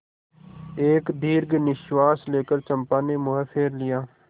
एक दीर्घ निश्वास लेकर चंपा ने मुँह फेर लिया